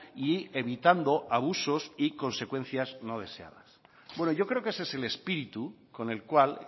y evitando abusos y consecuencias no deseadas bueno yo creo que ese es el espíritu con el cual